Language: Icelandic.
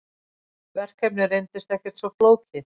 Verkefnið reyndist ekkert svo flókið.